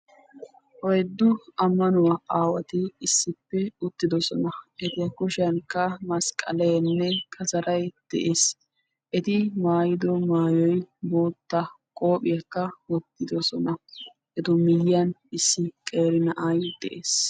Oyddu ammanuwa aawati issippe uttidosona. Eta kushiyankka masqqaleenne kasaray de'ees. Eti maayiddo maayoy boottaa qoophiyaakka wottidosona, etu miyiyan issi qeeri na'ay de'ees.